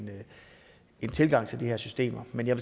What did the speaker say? en tilgang til de her systemer men jeg